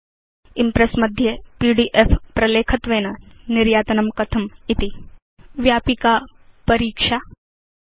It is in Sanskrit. इम्प्रेस् मध्ये पीडीएफ प्रलेखत्वेन निर्यातनं कथमिति च एतत् व्यापक परीक्षार्थं प्रयतताम्